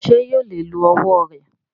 Ṣé yóò lè lo ọwọ rẹ?